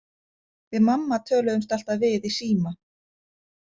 Við mamma töluðumst alltaf við í síma.